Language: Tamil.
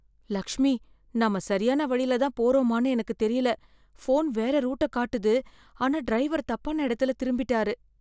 லக்ஷ்மி, நம்ம சரியான வழியில தான் போறோமானு எனக்கு தெரியல. ஃபோன் வேற ரூட்ட காட்டுது ஆனா டிரைவர் தப்பான இடத்துல திரும்பிட்டாரு.